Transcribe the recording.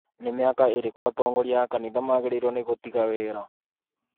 Nĩ mĩaka ĩrikũ atongoria a kanitha magĩrĩĩrwo gũtiga wĩra?